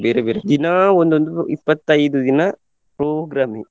ಬೇರೆ ಬೇರೆ ದಿನಾ ಒಂದೊಂದು ಇಪ್ಪತೈದು ದಿನ program ಏ.